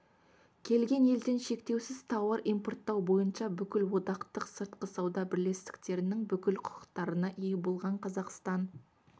келген елден шектеусіз тауар импорттау бойынша бүкілодақтық сыртқы сауда бірлестіктерінің бүкіл құқықтарына ие болған қазақстан